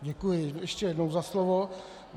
Děkuji ještě jednou za slovo.